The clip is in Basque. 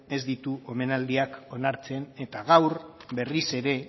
ez ditu omenaldiak onartzen eta gaur berriz ere